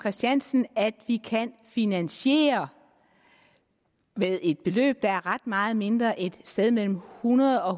christiansen at vi kan finansiere med et beløb der er ret meget mindre end et sted mellem hundrede og